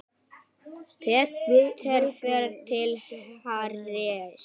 Peter fer til Harrys.